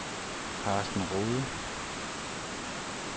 Karsten Rohde